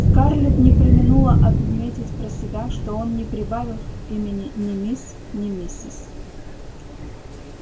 скарлетт не преминула отметить про себя что он не прибавил к имени ни мисс ни миссис